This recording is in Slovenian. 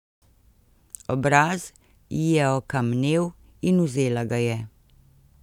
Obraz ji je okamnel in vzela ga je.